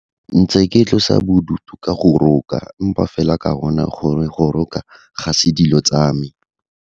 Ntse ke tlosa bodutu ka go roka, empa fela ka bona gore go roka ga se dilo tsa me.